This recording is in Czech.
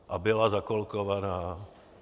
A byla zakolkovaná?